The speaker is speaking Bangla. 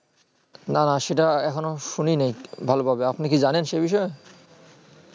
না না সেটা এখনো শুনি নি ভালো ভাবে আপনি কি জানেন সেই বিষয়ে